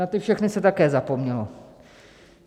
Na ty všechny se také zapomnělo.